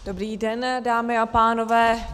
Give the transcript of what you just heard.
Dobrý den, dámy a pánové.